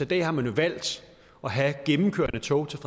dag har man jo valgt at have gennemkørende tog til